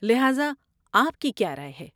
لہٰذا، آپ کی کیا رائے ہے؟